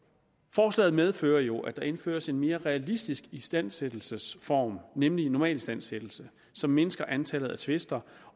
forslaget medfører jo at der indføres en mere realistisk istandsættelsesform nemlig normalistandsættelse som mindsker antallet af tvister